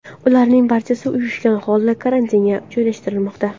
Ularning barchasi uyushgan holda karantinga joylashtirilmoqda.